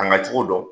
A na cogo dɔn